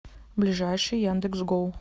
ближайший яндекс гоу